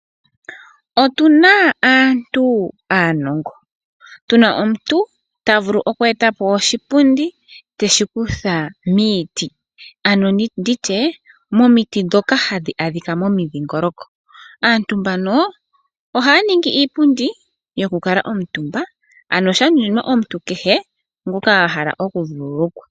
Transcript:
Otuna aantu aanongo ,tuna omuntu ta vulu oku etapo oshipundi teshi kutha miiti ano nditye momiti ndhoka hadhi adhika momidhingoloko. Aantu mbano ohaya ningi iipundi yoku kuutumba ano sha nunimwa omuntu kehe ngoka ahala oku vululukwa